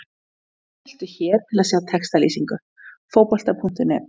Smelltu hér til að sjá textalýsingu Fótbolta.net.